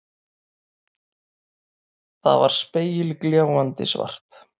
Það var spegilgljáandi svart.